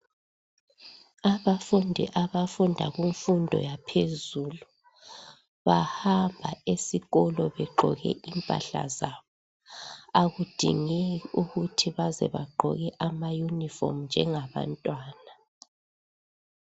Abafundi abafunda kumfundo yaphezulu bahamba esikolo begqoke impahlazabo. Akudingeki ukuthi baze bagqoke ama Yunifomu njengabantwana.